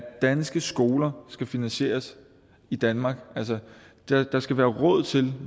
danske skoler skal finansieres i danmark altså at der skal være råd til